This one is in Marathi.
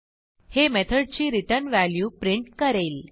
हे मेथडची रिटर्न वॅल्यू प्रिंट करेल